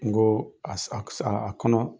N go a sa ke sa , a kɔnɔ